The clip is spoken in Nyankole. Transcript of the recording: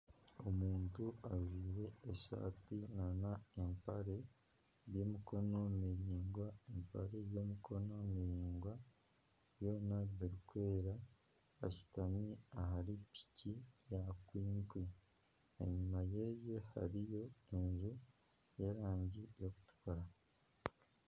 Omuntu ajwaire esaati n'empare by'emikono miraingwa, empare y'amaguru maraingwa byona birikwera ashutami ahari piki ya kwikwi enyuma ye hariyo enju y'erangi erikutukura.